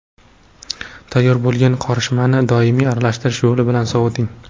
Tayyor bo‘lgan qorishmani doimiy aralashtirish yo‘li bilan soviting.